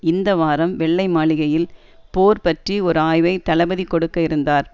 இந்த வாரம் வெள்ளை மாளிகையில் போர் பற்றி ஒரு ஆய்வை தளபதி கொடுக்க இருந்தார்